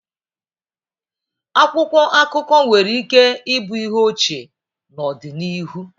Akwụkwọ akụkọ nwere ike ịbụ ihe ochie n'ọdịnihu.